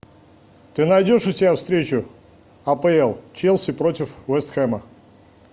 ты найдешь у себя встречу апл челси против вест хэма